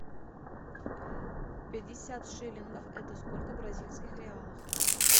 пятьдесят шиллингов это сколько бразильских реалов